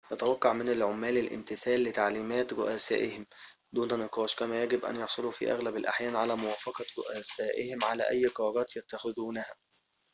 يُتوقع من العمال الامتثال لتعليمات رؤسائهم دون نقاش كما يجب أن يحصلوا في أغلب الأحيان على موافقة رؤسائهم على أي قرارات يتخذونها